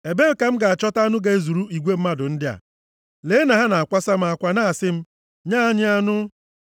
Ebee ka m ga-achọta anụ ga-ezuru igwe mmadụ ndị a? Lee na ha na-akwasa m akwa na-asị m, ‘Nye anyị anụ!’